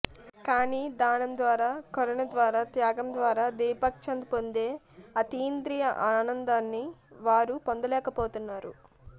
కాని దానం ద్వారా కరుణ ద్వారా త్యాగం ద్వారా దీపక్చంద్ పొందే అతీంద్రియ ఆనందాన్ని వారు పొందలేకపోతున్నారు